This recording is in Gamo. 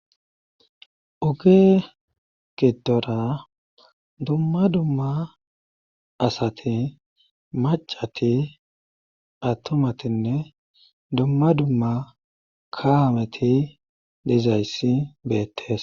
oge gidora dumma dumma asati macati attomatinne dumma dumma kaameti dezayssi beettes